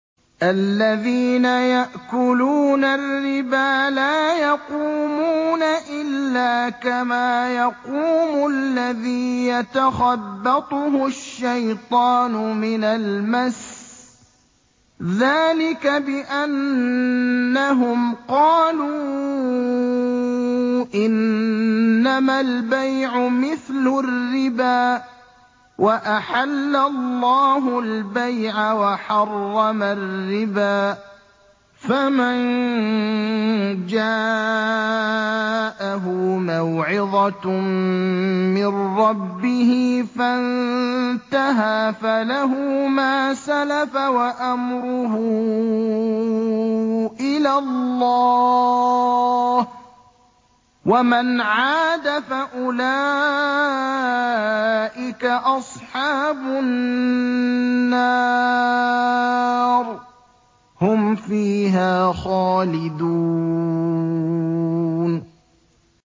الَّذِينَ يَأْكُلُونَ الرِّبَا لَا يَقُومُونَ إِلَّا كَمَا يَقُومُ الَّذِي يَتَخَبَّطُهُ الشَّيْطَانُ مِنَ الْمَسِّ ۚ ذَٰلِكَ بِأَنَّهُمْ قَالُوا إِنَّمَا الْبَيْعُ مِثْلُ الرِّبَا ۗ وَأَحَلَّ اللَّهُ الْبَيْعَ وَحَرَّمَ الرِّبَا ۚ فَمَن جَاءَهُ مَوْعِظَةٌ مِّن رَّبِّهِ فَانتَهَىٰ فَلَهُ مَا سَلَفَ وَأَمْرُهُ إِلَى اللَّهِ ۖ وَمَنْ عَادَ فَأُولَٰئِكَ أَصْحَابُ النَّارِ ۖ هُمْ فِيهَا خَالِدُونَ